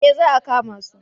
Eh za a kama su?